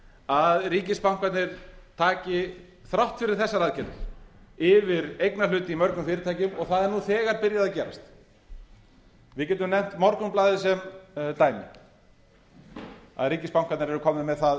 að ríkisbankarnir taki þrátt fyrir þessar aðgerðir yfir eignarhlut í mörgum fyrirtækjum og það er nú þegar byrjað að gerast við getum nefnt morgunblaðið sem dæmi að ríkisbankarnir fengu það